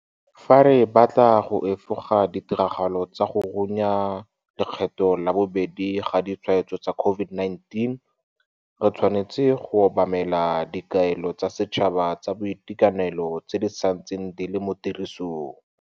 Fa re batla go efoga ditiragalo tsa go runya lekgetlo la bobedi ga ditshwaetso tsa COVID-19, re tshwanetse go obamela dikaelo tsa setšhaba tsa boitekanelo tse di santseng di le mo tirisong.